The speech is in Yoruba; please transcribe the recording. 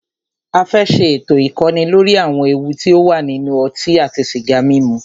A fẹ́ ṣé ètò ìkọ́ni lóri àwọn ewu ti o wà nínú ọtí àti sìgá mímu.